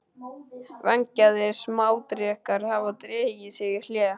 Vængjaðir smádrekar hafa dregið sig í hlé.